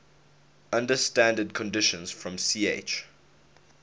under standard conditions from ch